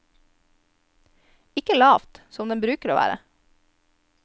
Ikke lavt, som den bruker å være.